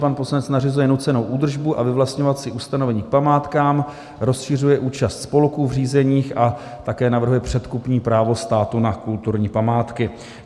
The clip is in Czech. Pan poslanec nařizuje nucenou údržbu a vyvlastňovací ustanovení k památkám, rozšiřuje účast spolků v řízeních a také navrhuje předkupní právo státu na kulturní památky.